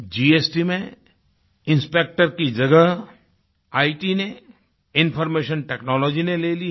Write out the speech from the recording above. GST मेंइंस्पेक्टर की जगह इत ने इन्फॉर्मेशन टेक्नोलॉजी ने ले ली है